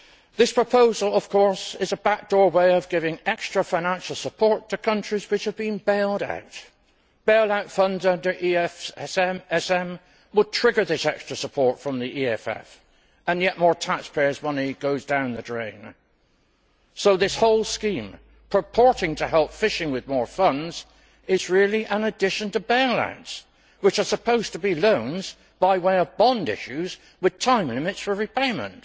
This proposal, of course, is a backdoor way of giving extra financial support to countries which have been bailed out, bailout funds under the EFSM will trigger this extra support from the EFF, and yet more taxpayers' money goes down the drain. So this whole scheme, purporting to help fishing with more funds, is really an addition to bailouts, which are supposed to be loans by way of bond issues with time limits for repayment.